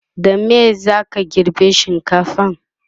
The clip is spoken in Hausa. da me zaka girbe shinkafan?